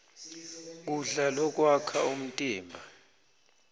kudla lokwakha umtimba